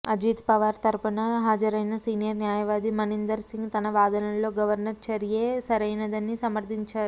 అజిత్ పవార్ తరఫున హాజరయిన సీనియర్ న్యాయవాది మణీందర్ సింగ్ తమ వాదనలో గవర్నర్ చర్య సరైనదే అని సమర్థించారు